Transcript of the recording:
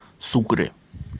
сукре